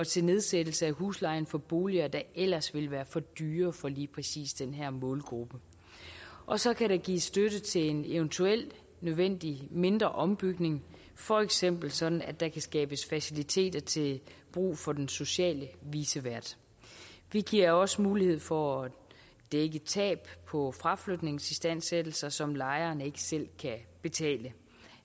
til nedsættelse af huslejen for boliger der ellers ville være for dyre for lige præcis den her målgruppe og så kan der gives støtte til en eventuelt nødvendig mindre ombygning for eksempel sådan at der kan skabes faciliteter til brug for den sociale vicevært vi giver også mulighed for at dække tab på fraflytningsistandsættelser som lejeren ikke selv kan betale